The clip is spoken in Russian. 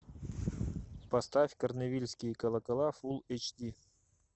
поставь корневильские колокола фулл эйч ди